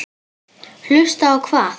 Hlusta á hvað?